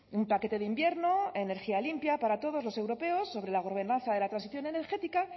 un paquete de invierno energía limpia para todos los europeos sobre la ordenanza de la transición energética